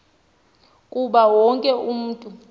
kuba wonke umntu